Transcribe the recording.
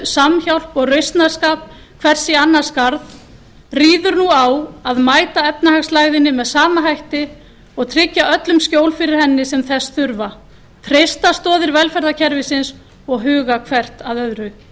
samhjálp og rausnarskap hvers í annars garð ríður nú á að mæta efnahagslægðinni með sama hætti og tryggja öllum skjól fyrir henni sem þess þurfa treysta stoðir velferðarkerfisins og huga hvert að öðru